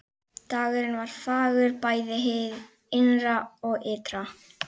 Dagurinn var fagur bæði hið innra og ytra.